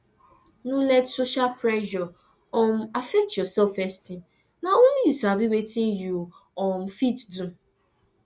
no let social pressure um affect your selfesteem na only you sabi wetin you um fit do